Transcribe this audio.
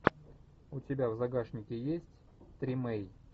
у тебя в загашнике есть тримей